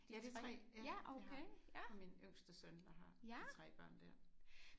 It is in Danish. Ja de 3 det har det min yngste søn der har de 3 børn der